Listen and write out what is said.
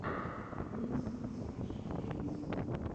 микс смош геймс